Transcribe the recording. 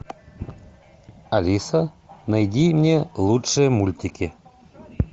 алиса найди мне лучшие мультики